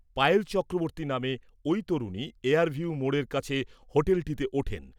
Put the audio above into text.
পায়েল চক্রবর্তী নামে ঐ তরুণী এয়ারভিউ মোড়ের কাছে হোটেলটিতে ওঠেন।